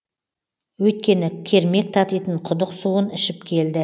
өйткені кермек татитын құдық суын ішіп келді